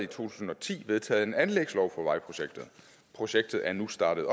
tusind og ti vedtaget en anlægslov for vejprojektet projektet er nu startet